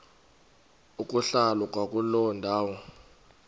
ukuhlala kwakuloo ndawo